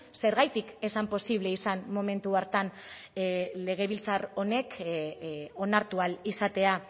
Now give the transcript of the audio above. zergatik ez zan posible izan momentu hartan legebiltzar honek onartu ahal izatea